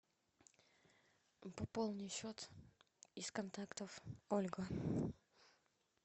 пополни счет из контактов ольга